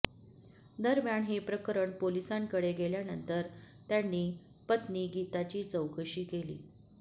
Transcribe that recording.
दरम्यान हे प्रकरण पोलिसांकडे गेल्यानंतर त्यांनी पत्नी गीताची चौकशी केली